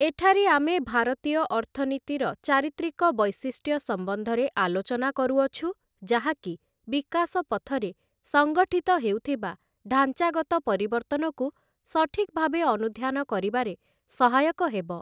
ଏଠାରେ ଆମେ ଭାରତୀୟ ଅର୍ଥନୀତିର ଚାରିତ୍ରିକ ବୈଶିଷ୍ଟ୍ୟ ସମ୍ବନ୍ଧରେ ଆଲୋଚନା କରୁଅଛୁ ଯାହାକି ବିକାଶ ପଥରେ ସଂଗଠିତ ହେଉଥିବା ଢ଼ାଞ୍ଚାଗତ ପରିବର୍ତ୍ତନକୁ ସଠିକ୍ ଭାବେ ଅନୁଧ୍ୟାନ କରିବାରେ ସହାୟକ ହେବ ।